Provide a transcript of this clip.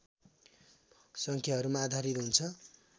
सङ्ख्याहरूमा आधारित हुन्छ